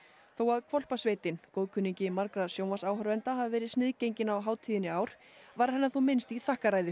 þó að Hvolpasveitin góðkunningi margra sjónvarpsáhorfenda hafi verið sniðgengin á hátíðinni í ár var hennar þó minnst í þakkarræðu